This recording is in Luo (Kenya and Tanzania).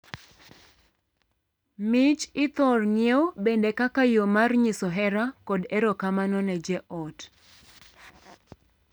Mich ithor ng'iew bende kaka yoo mar nyiso hera kod erokamano ne joot.